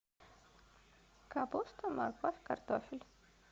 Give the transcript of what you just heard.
капуста морковь картофель